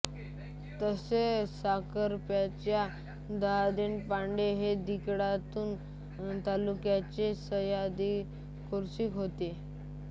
तसेच साखरप्याचे सरदेशपांडे हे खिळणा तालुक्याचे सरदेशकुलकर्णी होते